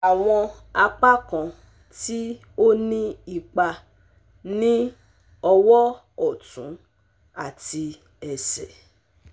Awọn apakan ti o ni ipa ni ọwọ ọtun ati ẹsẹ